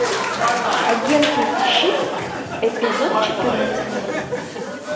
агенты щит эпизод четырнадцать